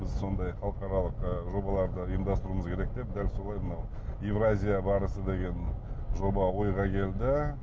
біз сондай халықаралық ы жобаларды үймдастыруымыз керек деп дәл солай мынау еуразия барысы деген жоба ойға келді